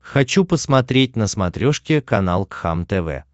хочу посмотреть на смотрешке канал кхлм тв